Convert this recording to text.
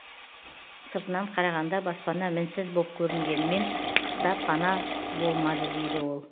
сыртынан қарағанда баспана мінсіз боп көрінгенімен қыста пана болмады дейді ол